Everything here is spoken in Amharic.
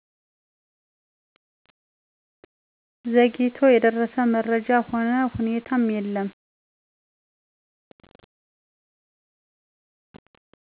ዘግይቶ የደረሰ መረጃም ሆነ ሁኔታ የለም